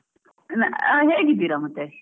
ಹ ಹೇಗಿದ್ದೀರ ಮತ್ತೆ?